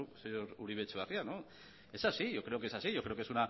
señor uribe etxebarria es así yo creo que es así yo creo que